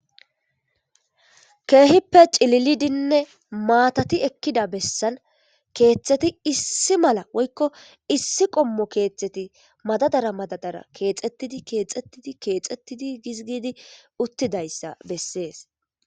keehippe cililidinne maatati ekkida bessan keeththeti issi mala woykko issi qommo keethteti madadara madadara keexettidi keexettidi keexettidi hozgidi uttidayssa bessees